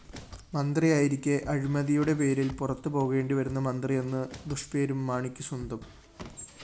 മന്ത്രിയായിരിക്കെ അഴിമതിയുടെ പേരില്‍ പുറത്തുപോകേണ്ടിവരുന്ന മന്ത്രിയെന്ന് ദുഷ്‌പേരും മാണിക്ക് സ്വന്തം